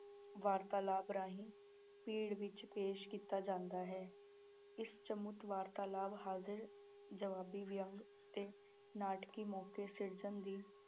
ਵਾਰਤਾਲਾਪ ਰਾਹੀਂ ਪਿੜ ਵਿੱਚ ਪੇਸ਼ ਕੀਤਾ ਜਾਂਦਾ ਹੈ, ਇਹ ਵਾਰਤਾਲਾਪ, ਹਾਜ਼ਰ-ਜਵਾਬੀ, ਵਿਅੰਗ ਅਤੇ ਨਾਟਕੀ ਮੌਕੇ ਸਿਰਜਣ ਦੀ